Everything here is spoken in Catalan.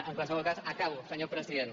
en qualsevol cas acabo senyor president